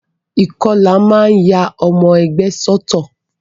Ìkọlà a máa ya ọmọ ẹgbẹ́ sọ́tọ̀.